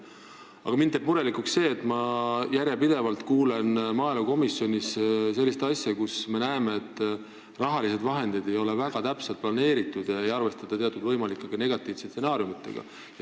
Aga mind teeb murelikuks see, et ma järjepidevalt kuulen maaelukomisjonis sellist asja, et rahalised vahendid ei ole väga täpselt planeeritud ega arvestata võimalike negatiivsete stsenaariumidega.